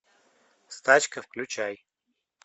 стачка включай